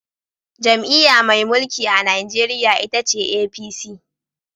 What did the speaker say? Jam’iyya mai mulki a Najeriya ita ce APC.